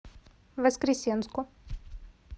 воскресенску